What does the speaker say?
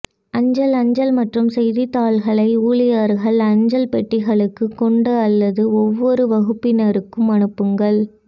அஞ்சல் அஞ்சல் மற்றும் செய்தித்தாள்களை ஊழியர்கள் அஞ்சல் பெட்டிகளுக்கு கொண்டு அல்லது ஒவ்வொரு வகுப்பினருக்கும் அனுப்புங்கள்